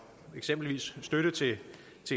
eksempelvis støtte til